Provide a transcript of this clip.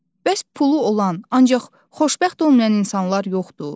Bəs pulu olan, ancaq xoşbəxt olmayan insanlar yoxdur?